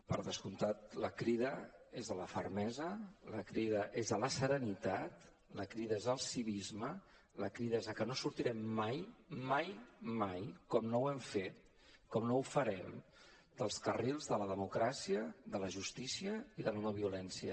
per descomptat la crida és a la fermesa la crida és a la serenitat la crida és al civisme la crida és a que no sortirem mai mai mai com no ho hem fet com no ho farem dels carrils de la democràcia de la justícia i de la no violència